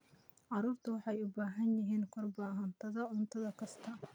Carruurtu waxay u baahan yihiin karbohaydrayt cunto kasta